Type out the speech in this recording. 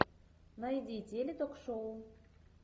найди теле ток шоу